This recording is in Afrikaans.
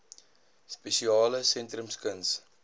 spesiale sentrums kuns